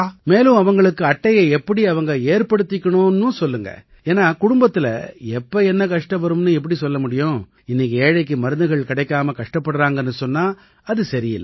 மேலும் அவங்களுக்கு அட்டையை எப்படி அவங்க ஏற்படுத்திக்கணும்னும் சொல்லுங்க ஏன்னா குடும்பத்தில எப்ப என்ன கஷ்டம் வரும்னு எப்படி சொல்ல முடியும் இன்னைக்கு ஏழைக்கு மருந்துகள் கிடைக்காம கஷ்டப்படுறாங்கன்னு சொன்னா அது சரி இல்லை